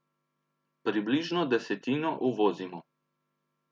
Približno desetino uvozimo.